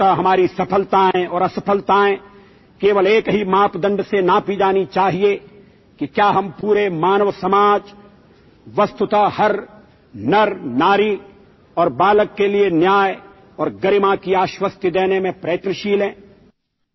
અંતત હમારી સફલતાએં ઔર અસફલતાએં કેવલ એક હી માપદંડ સે નાપી જાની ચાહિએ કિ ક્યા હમ પૂરે માનવ સમાજ વસ્તુત હર નરનારી ઔર બાલક કે લિયે ન્યાય ઔર ગરિમા કી આશ્વસ્તિ દેને મેં પ્રયત્નશીલ હૈ